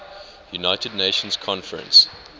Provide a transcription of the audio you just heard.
united nations conference